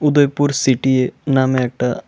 Udaipur city এ নামে একটা--